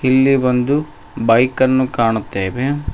ಇಲ್ಲಿ ಒಂದು ಬೈಕ್ ಅನ್ನು ಕಾಣುತ್ತೇವೆ.